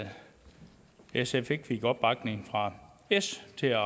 sf ikke fik opbakning fra s til at